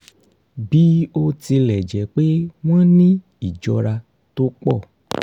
bí ó tilẹ̀ jẹ́ pé wọ́n ní ìjọra tó pọ̀